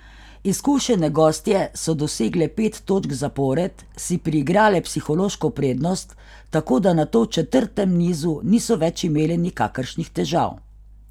Izkušene gostje so dosegle pet točk zapored, si priigrale psihološko prednost, tako da nato v četrtem nizu niso več imele nikakršnih težav.